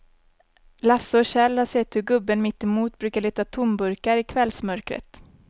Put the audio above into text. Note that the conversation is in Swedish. Lasse och Kjell har sett hur gubben mittemot brukar leta tomburkar i kvällsmörkret.